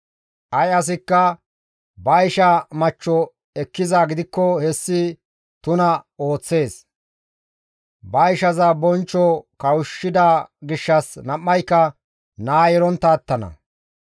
Ay asikka ba isha machcho ekkizaa gidikko hessi tuna ooththees; ba ishaza bonchcho kawushshida gishshas nam7ayka naa yelontta attana.